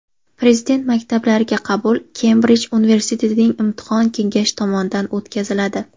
Prezident maktablariga qabul Kembrij universitetining Imtihon kengashi tomonidan o‘tkaziladi.